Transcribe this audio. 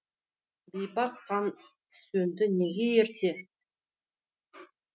бейбақ қан сөнді неге ерте